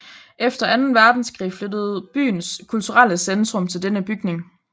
Efter anden verdenskrig flyttede byens kulturelle centrum til denne bygning